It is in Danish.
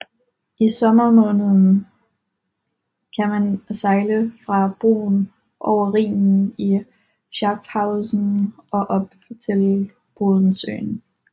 I sommermånederne kan man sejle fra broen over Rhinen i Schaffhausen og op til Bodensøen